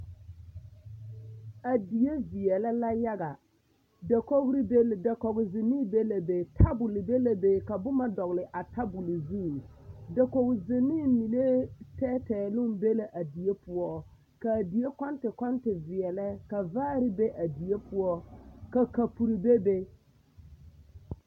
A die veɛlɛ la yaga, dakogiri, dakogi zenee be la be, tabol be la be ka boma dɔgele a tabol zu, dakogi zenee mine tɛɛtɛɛ meŋ be la a die poɔ k'a die kɔnte kɔnte veɛlɛ ka vaare be a die poɔ ka kapuri bebe.